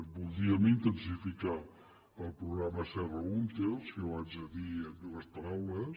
voldríem intensificar el programa serra húnter si ho haig de dir en dues paraules